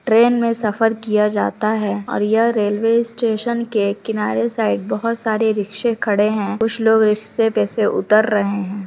Train में सफर किया जाता है और यह रेलवे स्टेशन के किनारे साइड बोहोत सारे रिक्शे खड़े है कुछ लोग रिक्शे पे से उतर रहे हैं।